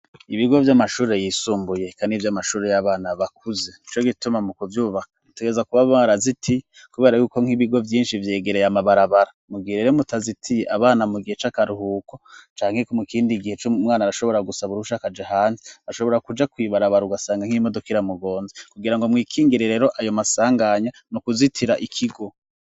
Ibigo vy'amashuri yisumbuye kandi 'iby'amashuri y'abana bakuze co gituma mu kubyubaka itegeza kuba mara ziti kubera y'uko nk'ibigo byinshi byegereye amabarabara mu gihe rero mutazitiye abana mu gihe c'akaruhuko cankeko mukindi igihe c' mwana arashobora gusaba urushakaje hanzi ashobora kuja kwibarabara ugasanga nk'imodoka iramugonze kugira ngo muikingire rero ayo masanganya no kuzitira ikigo.